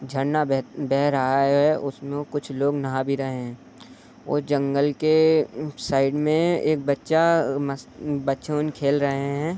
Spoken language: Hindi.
झरना बह बह रहा है। उसमें कुछ लोग नहा भी रहे हैं और जंगल के साइड में एक बच्चा मस बच्चे उन खेल रहे हैं।